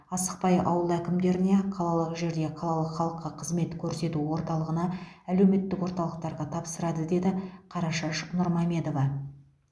асықпай ауыл әкімдеріне қалалық жерде қалалық халыққа қызмет көрсету орталығына әлеуметтік орталықтарға тапсырады деді қарашаш нұрмамедова